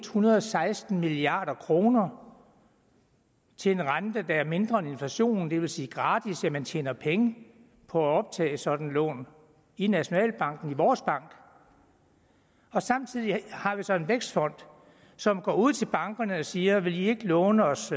hundrede og seksten milliard kroner til en rente der er mindre end inflationen hvilket vil sige gratis man tjener penge på at optage et sådan lån i nationalbanken i vores bank og samtidig har vi så en vækstfond som går ud til bankerne og siger vil i ikke låne os